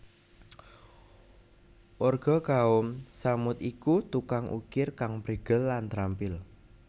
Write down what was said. Warga Kaum Tsamud iku tukang ukir kang prigel lan trampil